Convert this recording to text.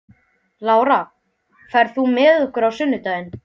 Lára, ferð þú með okkur á sunnudaginn?